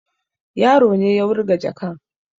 Yaro na ne ya wurga jakan